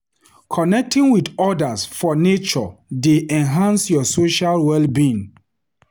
Connecting with others for nature dey enhance your social well-being.